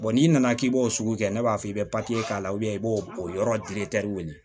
n'i nana k'i b'o sugu kɛ ne b'a fɔ i bɛ papiye k'a la i b'o o yɔrɔ wele